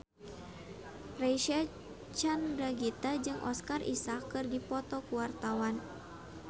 Reysa Chandragitta jeung Oscar Isaac keur dipoto ku wartawan